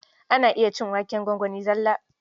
Ana iya cin waken gwangwani zalla.